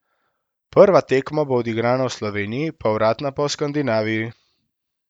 Prva tekma bo odigrana v Sloveniji povratna pa v Skandinaviji.